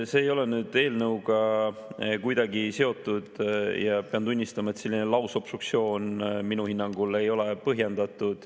See ei ole nüüd eelnõuga kuidagi seotud ja pean tunnistama, et selline lausobstruktsioon minu hinnangul ei ole põhjendatud.